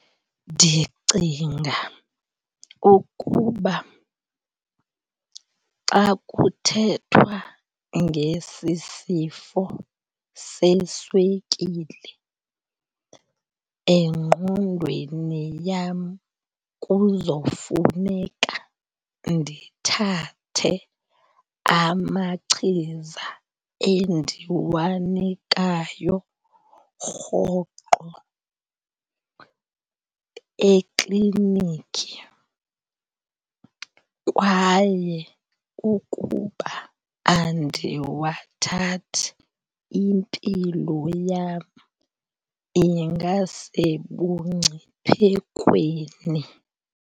Ndicinga ukuba xa kuthethwa ngesi sifo seswekile, engqondweni yam kuzofuneka ndithathe amachiza endiwanikayo rhoqo ekliniki. Kwaye ukuba andiwathathi impilo yam ingasebungciphekweni.